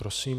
Prosím.